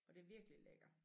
Og det virkelig lækker